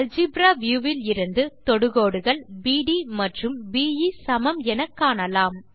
algebra view விலிருந்து தொடுகோடுகள் பிடி மற்றும் பே சமம் எனக்காணலாம்